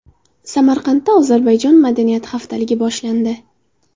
Samarqandda Ozarbayjon madaniyati haftaligi boshlandi.